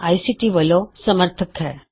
ICT ਵਲੋ ਇਸ ਦੇ ਸਹਾਇਤਕਰਤਾ ਹਨ